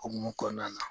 Okumu kɔnɔna na